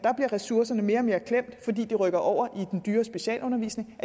ressourcerne bliver mere og mere klemt fordi de rykkes over i den dyre specialundervisning